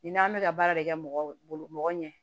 Ni n'an bɛ ka baara de kɛ mɔgɔ bolo mɔgɔ ɲɛ